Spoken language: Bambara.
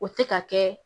O tɛ ka kɛ